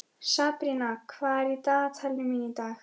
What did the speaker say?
Sabrína, hvað er í dagatalinu mínu í dag?